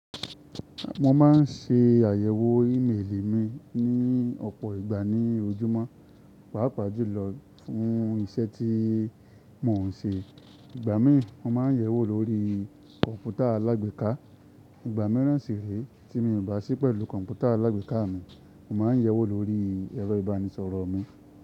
Mo ma n ṣe àyẹ̀wò ímeèlì mi ni ọ̀pọ̀ ìgbà ní ojúmọ́, pàápàá jùlọ fún iṣẹ́ tí mò n ṣe. Ìgbà mi mo ma n yẹ̀wò lórí kọ̀npútà alágbèéká. Ìgbà míràn sì re tí mi o bà sí pẹ̀lú kọ̀npútà alágbèéká mi, mo ma n yẹ̀wò lórí ẹ̀rọ ìbánisọ̀rọ̀ mi.